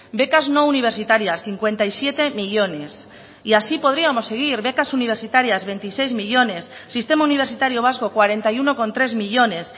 becas no universitarias cincuenta y siete millónes y así podríamos seguir becas universitarias veintiséis millónes sistema universitario vasco cuarenta y uno coma tres millónes